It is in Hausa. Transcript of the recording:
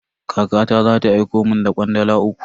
Kakata za ta aiko mun da kwandala uku.